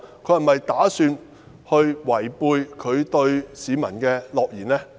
她是否打算違背她對市民的諾言呢？